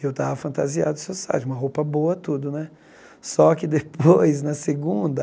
Eu estava fantasiado social, de uma roupa boa tudo né, só que depois, na segunda,